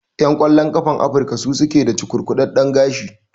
Ƴan ƙwallon ƙafan Afrika su suke da cukurkudaɗɗen gashi.